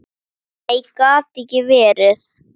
Nei, það gat ekki verið.